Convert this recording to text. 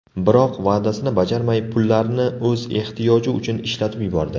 Biroq va’dasini bajarmay, pullarni o‘z ehtiyoji uchun ishlatib yubordi.